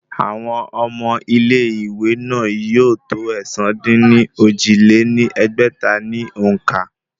Àwọn ọmọ ilé ìwé náà yóò tó ẹ̀sán-dín-ní-ojì lé ní ẹgbẹ́ta ní òǹkà